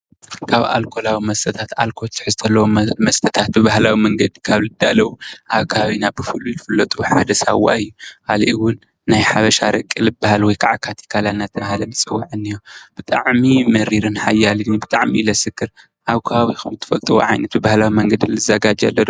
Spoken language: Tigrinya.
ካብ ኣልኮላዊ መስተታት ኣልኮላዊ ትሕዝቶ ዘለዎም መስተታት ብባህላዊ መንገዲ ካብ ዝዳለዉ ኣብ ከባቢና ብፉሉይ ዝፍለጡ ሓደ ስዋ አዩ። ካሊእ እዉን ኣረቂ ወይ ከዓ ካቲካላ ዳተባሃለ ዝጸዋዕ እኒሀ ብታሚ መሪርርን ሓያልን እዩ። ብጣዕሚ አዩ ዘሰክር። ኣብ ከባቢኩም ትፈልጥዎ ብባህላዊ ዓይነት ልዛጋጀው ኣሎ ዶ?